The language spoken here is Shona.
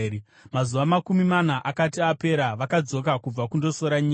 Mazuva makumi mana akati apera, vakadzoka kubva kundosora nyika.